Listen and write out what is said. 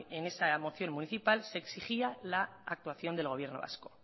en esa moción municipal se exigía la actuación del gobierno vasco